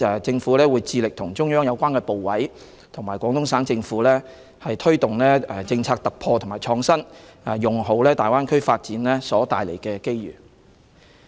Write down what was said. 政府亦會致力和中央有關部委和廣東省政府推動政策突破和創新，善用大灣區發展所帶來的機遇。